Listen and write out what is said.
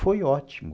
Foi ótimo.